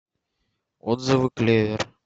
отзывы клевер